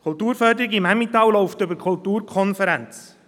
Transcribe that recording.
Die Kulturförderung im Emmental läuft über die Kulturkonferenz.